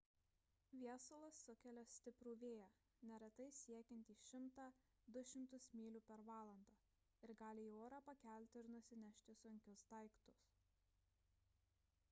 viesulas sukelia stiprų vėją neretai siekiantį 100–200 mylių per valandą ir gali į orą pakelti ir nusinešti sunkius daiktus